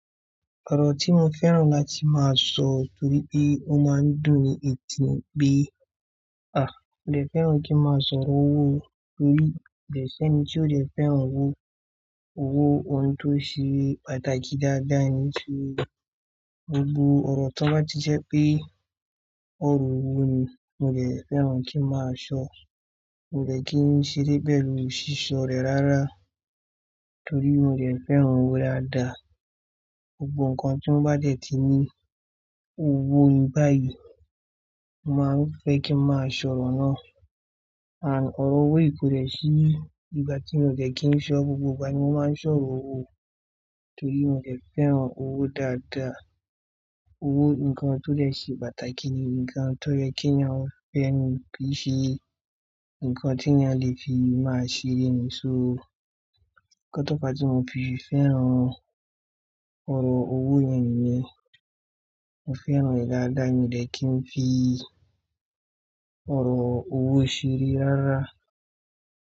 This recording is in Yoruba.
Ọ̀rọ̀ tí mo fẹ́ràn láti máa sọ nítorí pé ó máa ń dùn ni etí ni pé, à, mo dè fẹ́ràn kí n máa sọ ọ̀rọ̀ owó torí ko dẹ̀ ṣẹ́ni tí ó dẹ̀ fẹ́ràn owó. Owó, ohun tó ṣe pàtàkì dáadáa ní so. Gbogbo ọ̀rọ̀ to bá ti jẹ́ pé ọ̀rọ̀ owó ni mo dẹ̀ fẹ́ràn kí n máa sọ. Mo dẹ̀ kí n ṣeré pẹ̀lú ṣíṣọ́ rẹ̀ rárá torí mo dẹ̀ fẹ́ràn owó dáadáa. Gbogbo nǹkan tí wọ́n bá dẹ̀ ti ní owó nìí báyìí, mo máa ń fẹ́ kí n máa sọ̀rọ̀ náà. Ànd, ọ̀rọ̀ owó kò dẹ̀ sí ìgbà tí mo dẹ̀ kí n sọ. Gbogbo ìgbà ni mo máa ń sọ̀rọ̀ owó torí mo dẹ̀ fẹ́ràn owó dáadáa. Owó, ǹkan tó dẹ̀ ṣe pàtàkì ni ǹkan tó yẹ kí eyan fẹ́ni kí i ṣe, ǹkan tí eyan lè fi máa ṣeré ni. So nkan tó fa tí mo fi fẹ́ràn ọ̀rọ̀ owó yẹn nìyẹn. Mo fẹ́ràn rẹ̀ dáadáa mi o dẹ̀ kí n fi ọ̀rọ̀ owó ṣeré rárá.